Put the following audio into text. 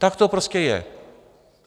Tak to prostě je.